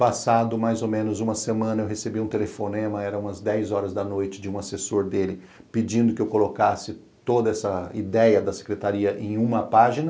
Passado mais ou menos uma semana, eu recebi um telefonema, eram umas dez horas da noite, de um assessor dele pedindo que eu colocasse toda essa ideia da Secretaria em uma página.